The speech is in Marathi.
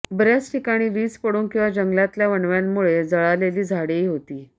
बऱ्याच ठिकाणी वीज पडून किंवा जंगलातल्या वणव्यांमुळे जळालेली झाडेही होती